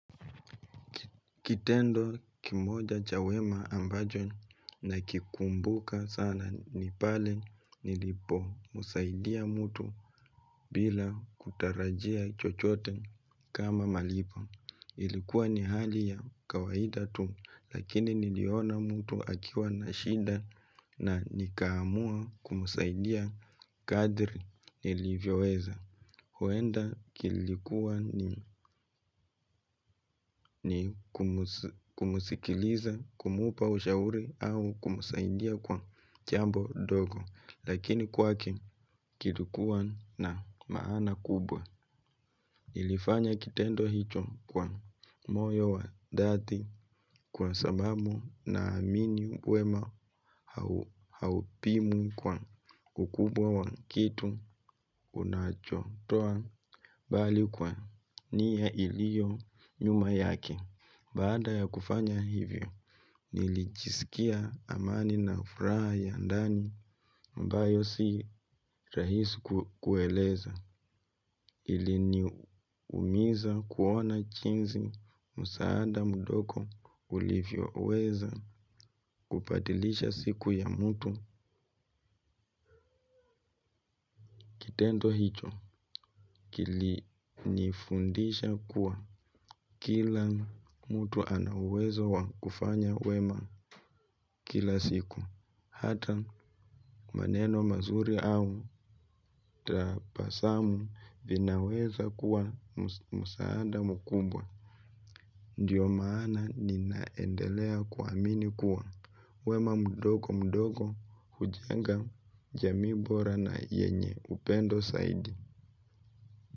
Kitendo kimoja cha wema ambajo nakikumbuka sana ni pale nilipomsaidia mtu bila kutarajia chochote kama malipo. Ilikuwa ni hali ya kawaida tu lakini niliona mtu akiwa na shida na nikamua kumsaidia kadri nilivyoweza. Huenda kilikuwa ni kumusikiliza, kumupa ushauri au kumusaidia kwa jambo dogo. Lakini kwake kilikuwa na maana kubwa. Nilifanya kitendo hicho kwa moyo wa dhati kwa sababu na amini wema haupimwi kwa ukubwa wa kitu unachotoa. Bali kwa niya ilio nyuma yake. Baada ya kufanya hivyo, nilijiskia amani na furaha ya ndani ambayo si rahisi kueleza. Iliniumiza kuona jinzi musaada mdogo ulivyoweza kubadilisha siku ya mtu kitendo hicho. Kilinifundisha kuwa kila mtu ana uwezo wa kufanya wema kila siku. Hata maneno mazuri au tapasamu vinaweza kuwa musaada mkubwa. Ndiyo maana ninaendelea kuamini kuwa wema mdogo mdogo hujenga jamii bora na yenye upendo saidi.